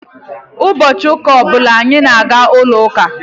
Ụbọchị ụka ọ bụla anyị na-aga n'ụlọ uka.